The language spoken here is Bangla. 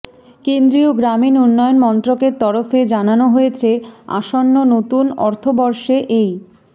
কেন্দ্রীয় গ্রামীণ উন্নয়ন মন্ত্রকের তরফে জানানো হয়েছে আসন্ন নতুন অর্থবর্ষে এই